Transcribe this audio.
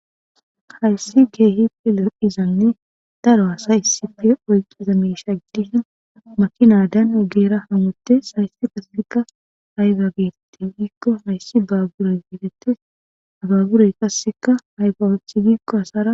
hayssi keehi fe lor7izanne daro hasayisite oyqqi zamesha giddihin makinadan ogeera hamotte sayssi qasseka hayfa geerette giikko hayssi baabure geeretes habaaburey qasseka hayfa woothi giikko hasara